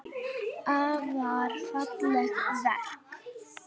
Afar falleg verk.